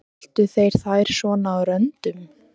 Eltu þeir þær svona á röndum?